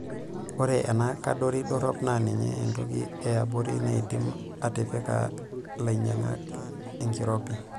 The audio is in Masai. Oree ena kadori dorop naa ninye entoki eebori naidim atipika lainyangak enkirobi.